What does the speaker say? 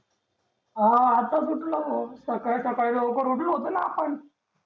हा आत्ताच उठलो भो सकाळी सकाळी लवकर उठलो होतो ना आपण